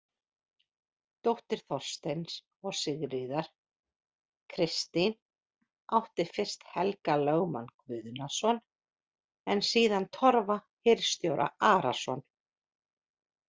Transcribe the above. Dóttir Þorsteins og Sigríðar, Kristín, átti fyrst Helga lögmann Guðnason en síðan Torfa hirðstjóra Arason.